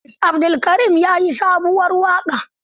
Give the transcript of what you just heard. Idris Abdulkarim ya yi sabuwar waƙa.